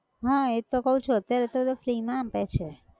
હા એજ તો કહું છુ અત્યારે તો એતો free માં આપે છે